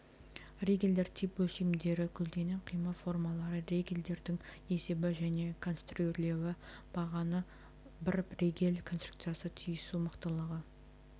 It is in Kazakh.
ригельдер тип өлшемдері көлденең қима формалары ригельдердің есебі және конструрирлеуі бағаны бар ригель конструкциясы түйісу мықтылығы